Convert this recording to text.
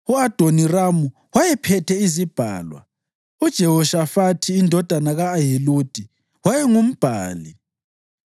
u-Adoniramu wayephethe izibhalwa; uJehoshafathi indodana ka-Ahiludi wayengumbhali;